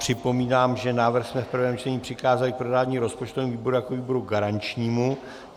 Připomínám, že návrh jsme v prvém čtení přikázali k projednání rozpočtovému výboru jako výboru garančnímu.